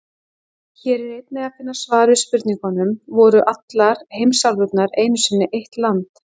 Hér er einnig að finna svar við spurningunum: Voru allar heimsálfurnar einu sinni eitt land?